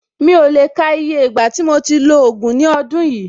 Mi ò lè le ka iye ìgbà tí mo ti lo ògùn ní ọdún yìí.